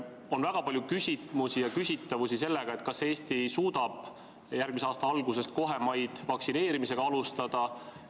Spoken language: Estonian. On väga palju küsimusi ja küsitavusi seoses sellega, kas Eesti suudab järgmise aasta alguses kohemaid vaktsineerimisega alustada.